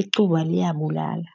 Icuba liyabulala.